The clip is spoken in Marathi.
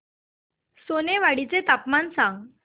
सोनेवाडी चे तापमान सांग